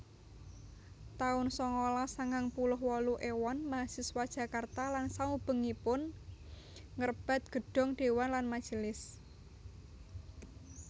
taun sangalas sangang puluh wolu Éwon mahasiswa Jakarta lan saubengipun ngrebat Gedhong dewan lan majelis